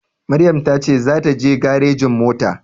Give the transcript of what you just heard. Maryam ta ce za ta je garejin mota